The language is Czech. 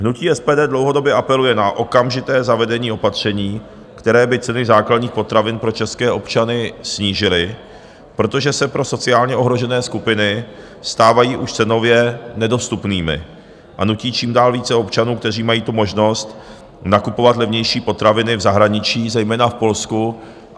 Hnutí SPD dlouhodobě apeluje na okamžité zavedení opatření, které by ceny základních potravin pro české občany snížily, protože se pro sociálně ohrožené skupiny stávají už cenově nedostupnými a nutí čím dál více občanů, kteří mají tu možnost, nakupovat levnější potraviny v zahraničí, zejména v Polsku.